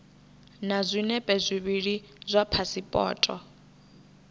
na zwinepe zwivhili zwa phasipoto